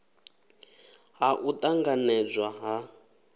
ha u t anganedzwa ha